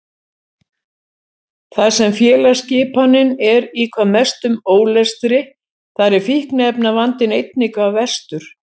Þar sem félagsskipanin er í hvað mestum ólestri þar er fíkniefnavandinn einnig hvað verstur.